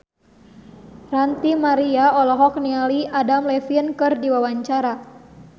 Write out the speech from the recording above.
Ranty Maria olohok ningali Adam Levine keur diwawancara